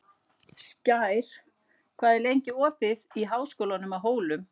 Skær, hvað er lengi opið í Háskólanum á Hólum?